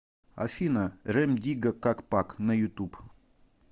афина рем дигга как пак на ютуб